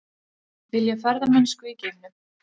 Vilja ferðamennsku í geimnum